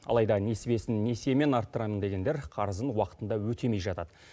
алайда несібесін несиемен арттырамын дегендер қарызын уақытында өтемей жатады